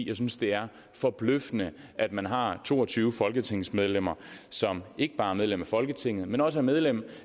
jeg synes det er forbløffende at man har to og tyve folketingsmedlemmer som ikke bare er medlemmer af folketinget men også er medlemmer